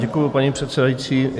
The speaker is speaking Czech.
Děkuji, paní předsedající.